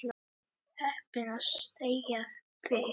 Heppin að þekkja þig.